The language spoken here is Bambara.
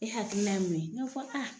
E hakilina ye mun ye? Ne ko